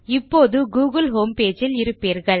இப்போது Google homepage இல் இருப்பீர்கள்